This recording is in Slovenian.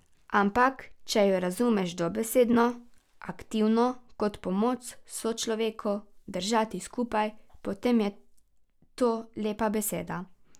Ampak če jo razumeš dobesedno, aktivno, kot pomoč sočloveku, držati skupaj, potem je to lepa beseda.